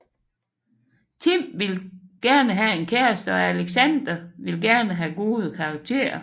Tim vil gerne have en kæreste og Alexander vil gerne have gode karakterer